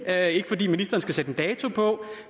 er ikke fordi ministeren skal sætte en dato på